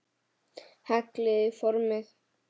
Hellið í formið.